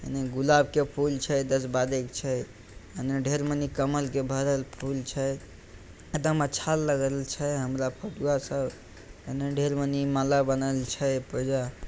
एने गुलाब के फूल छ दस बाद एक छ एने ढेर मनी कमाल के बादल फूल छ एकदम अच्छा लगल छ हमरा फोटुआ सब एने ढेर मनी माला बनल छ ।